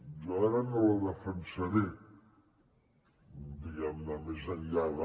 jo ara no la defensaré diguem ne més enllà de